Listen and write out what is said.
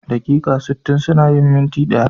Daƙiƙa sittin suna yin minti ɗaya.